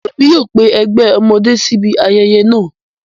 Emi yóò pe ẹgbẹ ọmọde si ibi ayẹyẹ naa